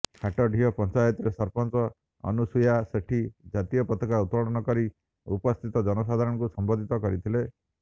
ହାଟଡିହି ପଞ୍ଚାୟତରେ ସରପଞ୍ଚ ଅନୁସୁୟା ସେଠୀ ଜାତୀୟ ପତାକା ଉତ୍ତୋଳନ କରି ଉପସ୍ଥିତ ଜନସାଧାରଣଙ୍କୁ ସମ୍ବୋଧି୍ତ କରିଥିଲେ